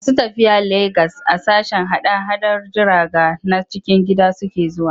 Masu tafiya Legas a sashen hada-hadar jiraga na cikin gida suke zuwa.